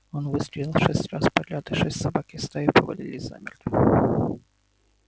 он выстрелил шесть раз подряд и шесть собак из стаи повалились замертво